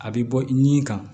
A bɛ bɔ ɲi kan